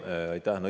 Aitäh!